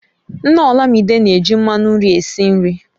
Nna olamide na èji mmanụ nri esi nri